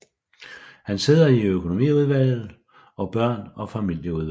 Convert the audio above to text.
Han sidder i økonomiudvalget og børn og familieudvalget